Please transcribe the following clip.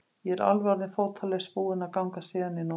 Ég er alveg orðinn fótalaus, búinn að ganga síðan í nótt.